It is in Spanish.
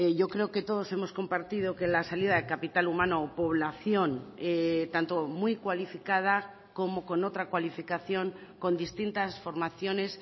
yo creo que todos hemos compartido que la salida de capital humano o población tanto muy cualificada como con otra cualificación con distintas formaciones